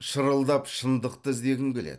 шырылдап шындықты іздегім келеді